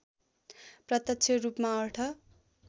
प्रत्यक्ष रूपमा अर्थ